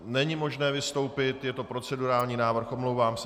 Není možné vystoupit, je to procedurální návrh, omlouvám se .